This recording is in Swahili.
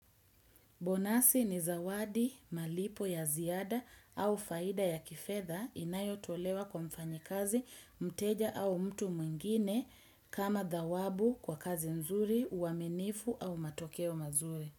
Bonasi ni zawadi, malipo ya ziada au faida ya kifedha inayo tolewa kwa mfanyikazi mteja au mtu mwingine kama dhawabu kwa kazi nzuri, uaminifu au matokeo mazuri.